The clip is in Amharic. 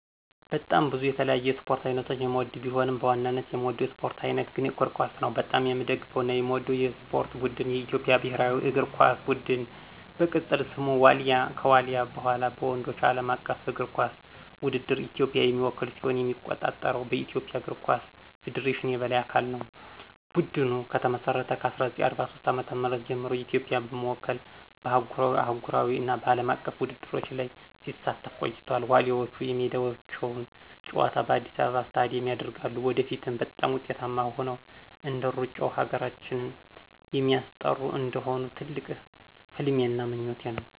በጣም ብዙ የተለያዩ የስፖርት አይነቶችን የምወድቢሆንም፣ በዋናነት የምወደው የስፖርት አይነት ግን እግር ኳስ ነው። በጣም የምደግፈውና የምወደው የስፖርት ቡድን የኢትዮጵያ ብሔራዊ እግር ኳስ ቡድን፣ በቅፅል ስሙ ዋሊያ፣ ከዋልያ በኋላ፣ በወንዶች ዓለም አቀፍ እግር ኳስ ውድድር ኢትዮጵያን የሚወክል ሲሆን የሚቆጣጠረው በኢትዮጵያ እግር ኳስ ፌዴሬሽን የበላይ አካል ነው። ቡድኑ ከተመሰረተ ከ1943 ዓ.ም ጀምሮ ኢትዮጵያን በመወከል በአህጉራዊ፣ አህጉራዊ እና አለም አቀፍ ውድድሮች ላይ ሲሳተፍ ቆይቷል፤ ዋሊያዎቹ የሜዳቸውን ጨዋታ በአዲስ አበባ ስታዲየም ያደርጋሉ። ወደፊትም በጣም ውጤታማ ሆነው እንደሩጫው ሀገራችን የሚስጠሩ እንዲሆኑ ትልቅ ህልሜና ምኞቴ ነው።